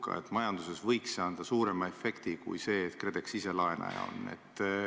See võiks majanduses anda suurema efekti kui see, et KredEx ise on laenaja.